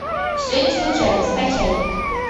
все не случайно скачай